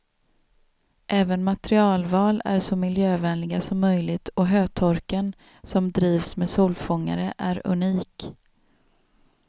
Även materialval är så miljövänliga som möjligt och hötorken, som drivs med solfångare, är unik.